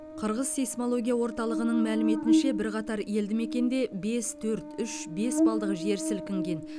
қырғыз сейсмология орталығының мәліметінше бірқатар елді мекенде бес төрт үш бес балдық жер сілкінген